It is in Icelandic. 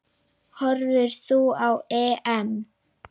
Horfir þú á EM?